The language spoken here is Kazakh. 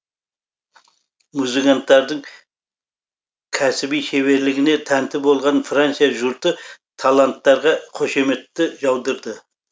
музыканттардың кәсіби шеберлігіне тәнті болған франция жұрты таланттарға қошеметті жаудырды